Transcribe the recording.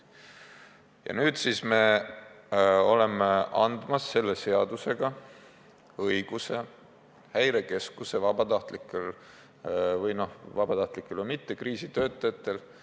Ja nüüd me anname selle õiguse Häirekeskuse vabatahtlikele ja ka mittevabatahtlikele, lihtsalt kriisitöötajatele.